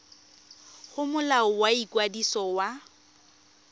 go molao wa ikwadiso wa